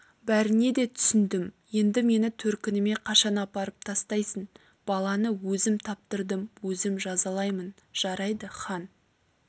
бәріне де түсіндім енді мені төркініме қашан апарып тастайсың баланы өзім таптырдым өзім жазалаймын жарайды хан